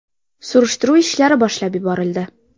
Surishtiruv ishlari boshlab yuborildi.